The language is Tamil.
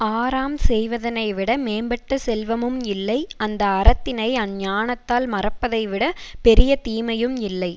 ஆறாம் செய்வதனைவிட மேம்பட்ட செல்வமும் இல்லை அந்த அறத்தினை அஞ்ஞானத்தால் மறைப்பதை விட பெரிய தீமையும் இல்லை